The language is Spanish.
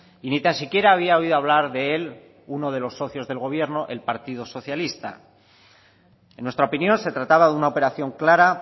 y ni tan siquiera había oído hablar de él uno de los socios del gobierno el partido socialista en nuestra opinión se trataba de una operación clara